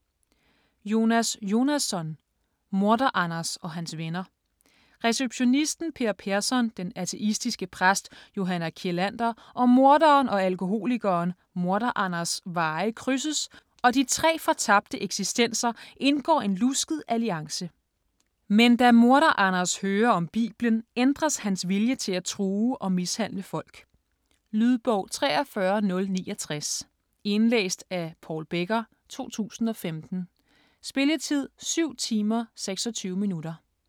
Jonasson, Jonas: Morder-Anders og hans venner Receptionisten Per Persson, den ateistiske præst Johanna Kjellander og morderen og alkoholikeren Morder-Anders' veje krydses, og de tre fortabte eksistenser indgår en lusket alliance. Med da Morder-Anders hører om Bibelen, ændres hans vilje til at true og mishandle folk. Lydbog 43069 Indlæst af Paul Becker, 2015. Spilletid: 7 timer, 26 minutter.